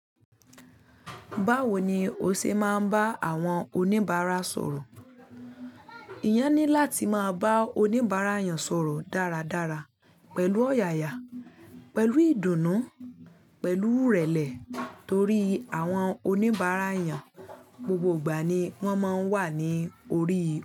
Báwo ni o ṣe máa ń bá àwọn oníbàárà sọ̀rọ̀? Èèyàn ní láti máa bá oníbàárà èèyàn sọ̀rọ̀ dáradára pẹ̀lú ọ̀yààyà, pẹ̀lú ìdùnnú, pẹ̀lú ìrẹ̀lẹ̀ torí àwọn oníbàárà èèyàn gbogbo ìgbà ni wọ́n máa ń wà ní orí i.